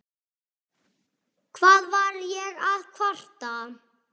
Hvað var ég að kvarta?